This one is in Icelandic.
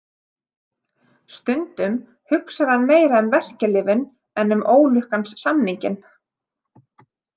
Stundum hugsar hann meira um verkjalyfin en um ólukkans samninginn.